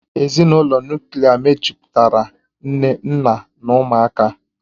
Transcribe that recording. Ezinụlọ Nuklià mejupụtara nne nna na ụmụaka